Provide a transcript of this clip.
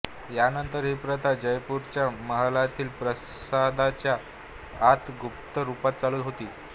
या नंतर ही प्रथा जयपुरच्या महलातील प्रासादच्या आत गुप्त रूपात चालू होती